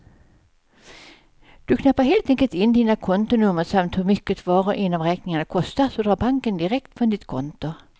Du knappar helt enkelt in dina kontonummer samt hur mycket var och en av räkningarna kostar, så drar banken direkt från ditt konto.